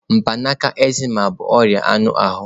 Mgbanaka, eczema bụ ọrịa anụ ahụ.